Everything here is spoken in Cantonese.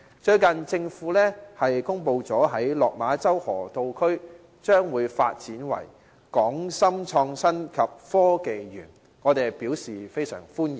最近，政府公布在落馬洲河套區發展"港深創新及科技園"，我們非常歡迎。